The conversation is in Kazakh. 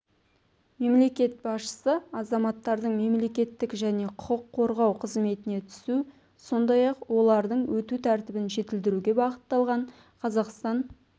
мемлекет басшысы азаматтардың мемлекеттік және құқық қорғау қызметіне түсу сондай-ақ олардың өту тәртібін жетілдіруге бағытталған қазақстан